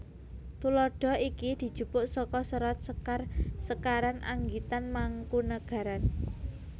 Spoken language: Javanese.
Tuladha iki dijupuk saka Serat Sekar sekaran anggitan Mangkunegaran